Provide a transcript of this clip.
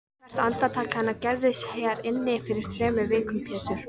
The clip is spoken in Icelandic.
Hvert andartak hennar gerðist hér inni fyrir þremur vikum Pétur.